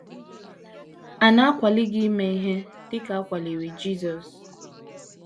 À Na - akwali Gị Ime Ihe Dị Ka A Kwaliri Jisọs?